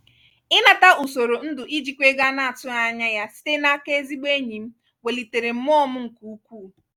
ịnata usoro ndụ ijikwa ego a na-atụghị anya ya site n'aka ezigbo enyi m welitere mmụọ m nke ukwuu.